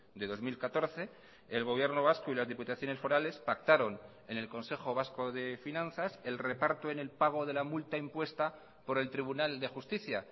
de dos mil catorce el gobierno vasco y las diputaciones forales pactaron en el consejo vasco de finanzas el reparto en el pago de la multa impuesta por el tribunal de justicia